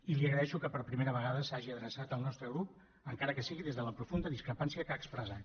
i li agraeixo que per primera vegada s’hagi adreçat al nostre grup encara que sigui des de la profunda discrepància que ha expressat